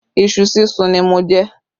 Ìṣù súnsun ni mo jẹ